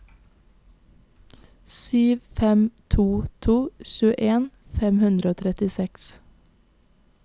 sju fem to to tjueen fem hundre og trettiseks